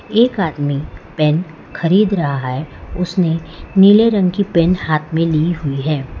एक आदमी पेन खरीद रहा है उसने नीले रंग की पेन हाथ में लीहुई है।